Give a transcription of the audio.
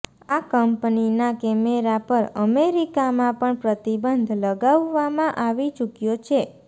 આ કંપનીના કેમેરા પર અમેરિકામાં પણ પ્રતિબંધ લગાવવામાં આવી ચૂક્યો છે